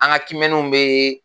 An ka kiimɛniw bɛ